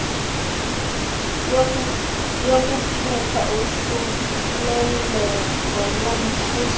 yokuphepha usuleleko lomkhuhlane